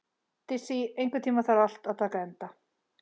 Dissý, einhvern tímann þarf allt að taka enda.